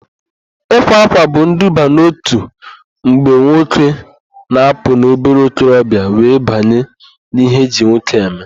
Ịwa ákwà bụ iduba n'òtù mgbe nwoke na-apụ n'obere okorobịa were banye n'ihe eji nwoke eme.